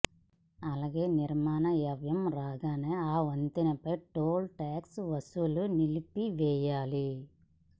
అలాగే నిర్మాణ వ్యయం రాగానే ఆ వంతెనపై టోల్ టాక్స్ వసూలు నిలిపివేయాలి